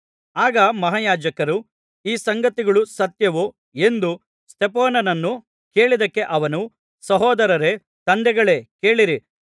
ಆಗ ಮಹಾಯಾಜಕನು ಈ ಸಂಗತಿಗಳು ಸತ್ಯವೋ ಎಂದು ಸ್ತೆಫನನನ್ನು ಕೇಳಿದ್ದಕ್ಕೆ ಅವನು ಸಹೋದರರೇ ತಂದೆಗಳೇ ಕೇಳಿರಿ